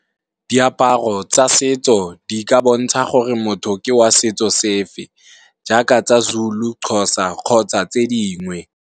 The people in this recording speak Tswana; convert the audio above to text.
Diaparo tsa setso di ka bontsha gore motho ke wa setso se fe jaaka tsa Zulu, Xhosa kgotsa tse dingwe.